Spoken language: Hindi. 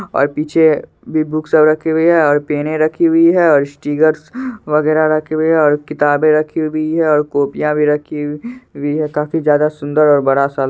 ओर पीछे भी बुक सब रखी हुई है और पेने रखी हुई है और स्टिगरस वगैरा रखे हुए है और किताबें रखी हुई भी है और कॉपियां भी रखी हुई है काफी ज्यादा सुंदर और बड़ा सा--